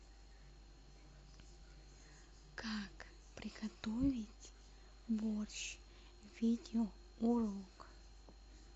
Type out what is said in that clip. как приготовить борщ видео урок